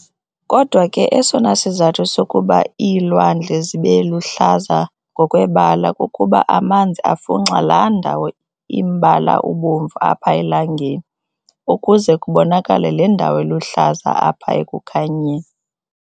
Kodwa ke esona sizathu sokuba iilwandle zibeluhlaza ngokwebala kukuba amanzi afunxa laandawo imbala ubomvu apha elangeni, kuze kubonakale le ndawo iluhlaza apha ekukhanyeni.